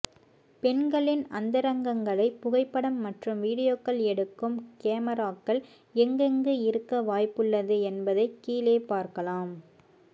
பெண்களின் அந்தரங்கங்களை புகைப்படம் மற்றும் வீடியோக்கள் எடுக்கும் கெமராகள் எங்கெங்கு இருக்க வாய்ப்புள்ளது என்பதை கீழே பார்க்கலாம்